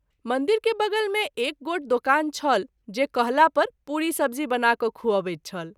मंदिर के बगल मे एक गोट दुकान छल जे कहला पर पुरी सब्ज़ी बना क’ खूअबैत छल।